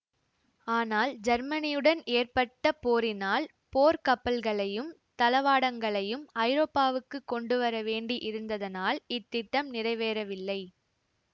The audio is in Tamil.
ஆனால் ஜெர்மனியுடன் ஏற்பட்ட போரினால் போர்க் கப்பல்களையும் தளவாடங்களையும் ஐரோப்பாவுக்குக் கொண்டுவரவேண்டி இருந்ததனால் இத் திட்டம் நிறைவேறவில்லை